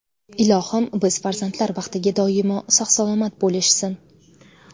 Ilohim, biz farzandlar baxtiga doimo sog‘-salomat bo‘lishsin!